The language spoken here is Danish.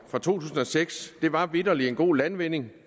fra to tusind og seks var vitterlig en god landvinding